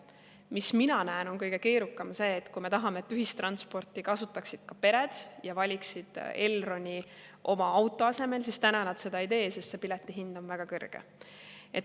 Minu kõige keerukam on see, et kui me tahame, et ühistransporti kasutaksid ka pered ja valiksid Elroni oma auto asemel, siis täna nad seda ei tee, sest piletihind on väga kõrge.